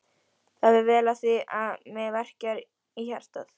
Það fer vel á því að mig verkjar í hjartað.